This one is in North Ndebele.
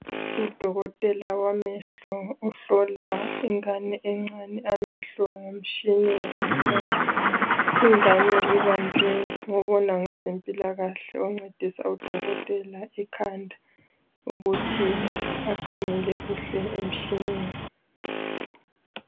Udokotela wamehlo uhlola ingane encane amehlo ngomtshina wokuhlola. Ingane ibanjwe ngobona ngezempilakahle, oncedisa ngodokotela ikhanda ukuthi akhangele kuhle emtshineni.